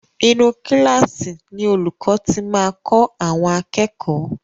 Inú kílààsì ni olúkọ̀ ti máa kọ́ àwọn akẹ́kọ̀ọ́.